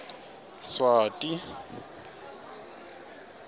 swati